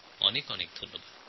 অসংখ্য ধন্যবাদ